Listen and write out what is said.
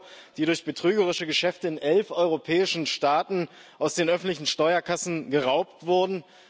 Euro, die durch betrügerische Geschäfte in elf europäischen Staaten aus den öffentlichen Steuerkassen geraubt wurden.